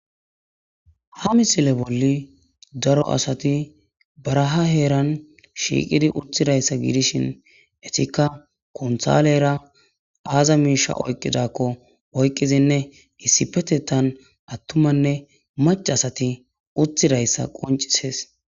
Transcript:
Ha misile bollan daro asati baraha heeran shiiqidi uttidaysa gidishin eetikka kuntaalera aaza miishsha oykkidako ,oykkidine issippetethan attumaynne maccay uttidayssa qoccisees.